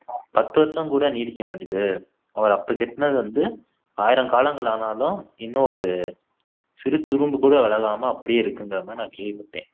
பத்து வருஷம் கூட நீடிக்க மாட்டுது அவர் அப்போ கட்டினது வந்து ஆயிரம் காலங்கள் ஆனாலும் இன்னும் ஒரு சிறு துரும்பு கூட விலகாம அப்படியே இருக்குங்கற மாதிரி நான் கேள்விப்பட்டேன்